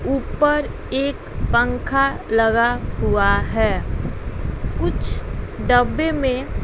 ऊपर एक पंखा लगा हुआ है कुछ डब्बे में--